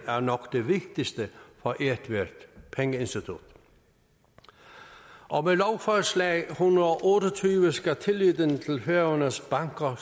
er nok det vigtigste for ethvert pengeinstitut og med lovforslag l en hundrede og otte og tyve skal tilliden til færøernes banker